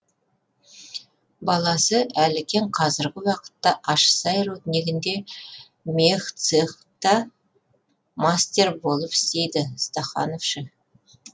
баласы әлікен қазіргі уақытта ащысай руднигінде мех цех да мастер болып істейді стахановшы